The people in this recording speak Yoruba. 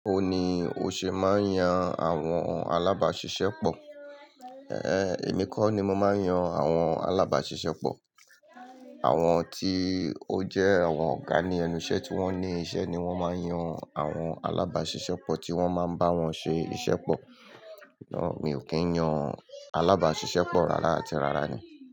O ní o ṣe máa ń yan àwọn alábàṣiṣẹ́ pọ̀. Èmi kò ní mo ma ń yan àwọn alábàṣiṣẹ́ pọ̀. Àwọn tí ó jẹ́ àwọn ọ̀gá ní ẹnu iṣẹ́ tí wọ́n ní iṣẹ́ ni wọ́n máa ń yan àwọn alábàṣiṣẹ́ pọ̀ tí wọ́n máa ń bá wọn ṣe iṣẹ́ pọ̀. Ná mi ò kìn yan alábàṣiṣẹ́ pọ̀ rárá àti rárá ni.